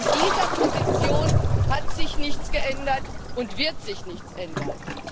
An dieser Position hat sich nichts geändert und wird sich nichts ändern.